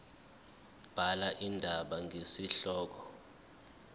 bhala indaba ngesihloko